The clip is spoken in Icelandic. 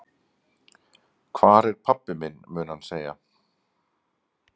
Hvar er pabbi minn? mun hann segja.